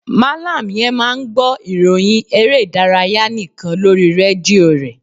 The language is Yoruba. Mallam yen máà ń gbọ́ ìròhìn eré ìdárayá nikan lórí rédíò re.